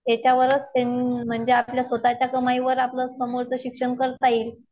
आपल्या ह्याच्यावरच त्यांनी म्हणजे आपल्या स्वतःच्या कमाईवर आपलं समोरचं शिक्षण करता येईल.